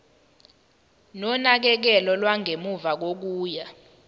nonakekelo lwangemuva kokuya